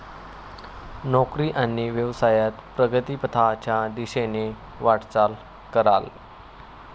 नोकरी आणि व्यवसायात प्रगतीपथाच्या दिशेने वाटचाल कराल.